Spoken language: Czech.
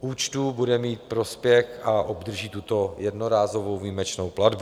účtů bude mít prospěch a obdrží tuto jednorázovou výjimečnou platbu.